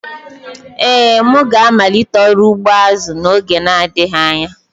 Ee, m ga-amalite ọrụ ugbo azu n'oge adịghị anya